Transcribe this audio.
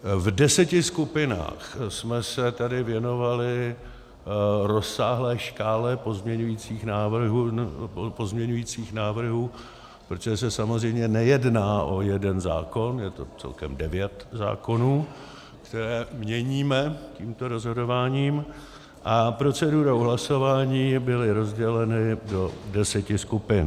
V deseti skupinách jsme se tady věnovali rozsáhlé škále pozměňovacích návrhů, protože se samozřejmě nejedná o jeden zákon, je to celkem devět zákonů, které měníme tímto rozhodováním, a procedurou hlasování byly rozděleny do deseti skupin.